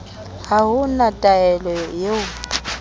ha o na thaere eo